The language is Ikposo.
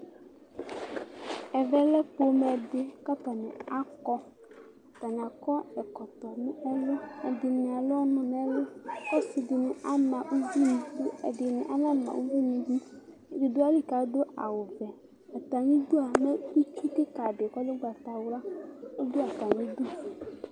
Ɛʋɛ lɛ pomɛ di, k'atani akɔ atani akɔ ɛkɔtɔ nu ɛlu, ɛdinɩ al'ɔnu n'ɛlu k'ɔsidini ama uʋi n'idu, ɛdini anama uʋi n'idu Ɛdi du ayili k'adu awu vɛ Atam'idua mɛ itsu kika di k'ɔl'ugbata wla ɔdu atami'du